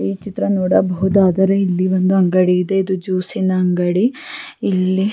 ಈ ಚಿತ್ರ ನೋಡುಬಹುದಾದರೆ ಇಲ್ಲಿ ಒಂದು ಅಂಗಡಿ ಇದೆ ಇದು ಜ್ಯೂಸಿನ ಅಂಗಡಿ ಇಲ್ಲಿ--